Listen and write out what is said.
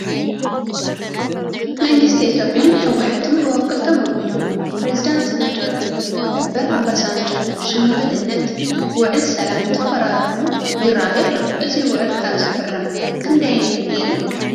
መንግስቲ ኢትዮጵያን ሕወሓትን ብወከልቶም ኣቢሎም ብፕረዚደንት ናጀርያ ነበር ኣባሳንጆ ሸምጋልነት ውዕሊ ሰላም እንትፈራረሙ ይርአዩ ኣለዉ፡፡ እዚ ውዕሊ ካብ ዝፍረም ክንደይ ገይሩ?